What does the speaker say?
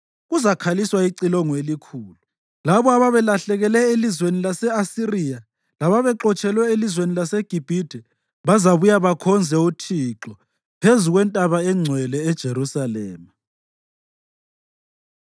Njalo ngalolusuku kuzakhaliswa icilongo elikhulu. Labo ababelahlekele elizweni lase-Asiriya lababexotshelwe elizweni laseGibhithe bazabuya bakhonze uThixo phezu kwentaba engcwele eJerusalema.